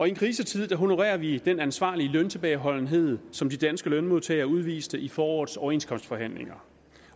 i en krisetid honorerer vi den ansvarlige løntilbageholdenhed som de danske lønmodtagere udviste i forårets overenskomstforhandlinger